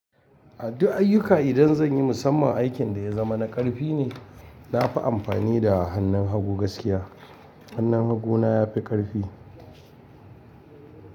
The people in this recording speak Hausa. A duk ayyuka idan zan yi musamman aikin da ya zama na ƙarfi ne, na fi amfani da hannun hagu gaskiya. Hannun haguna ya fi ƙarfi.